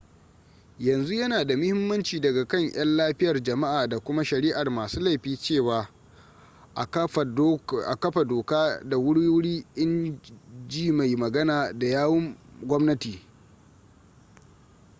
yanzu yana da mahimmanci daga kan 'yan lafiyar jama'a da kuma shari'ar masu laifi cewa a kafa doka da wuri-wuri in ji mai magana da yawun gwamnati